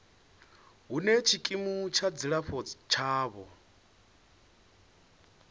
hune tshikimu tsha dzilafho tshavho